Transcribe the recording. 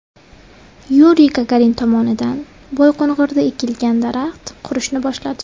Yuriy Gagarin tomonidan Boyqo‘ng‘irda ekilgan daraxt qurishni boshladi.